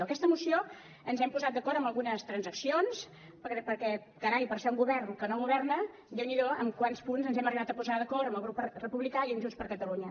en aquesta moció ens hem posat d’acord en algunes transaccions perquè carai per ser un govern que no governa déu n’hi do en quants punts ens hem arribat a posar d’acord amb el grup republicà i amb junts per catalunya